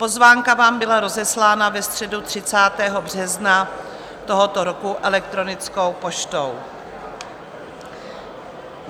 Pozvánka vám byla rozeslána ve středu 30. března tohoto roku elektronickou poštou.